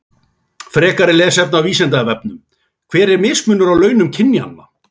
Frekara lesefni á Vísindavefnum: Hver er mismunur á launum kynjanna?